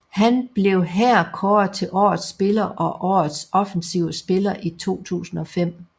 Han blev her kåret til Årets Spiller og Årets Offensive Spiller i 2005